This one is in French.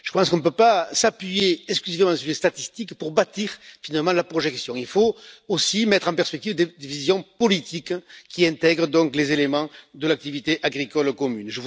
Je pense qu'on ne peut pas s'appuyer exclusivement sur les statistiques pour bâtir la projection, il faut aussi mettre en perspective des visions politiques qui intègrent les éléments de l'activité agricole commune.